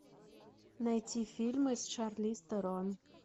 найти фильмы с шарлиз терон